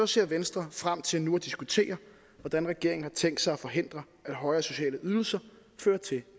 ser venstre frem til nu at diskutere hvordan regeringen har tænkt sig at forhindre at højere sociale ydelser fører til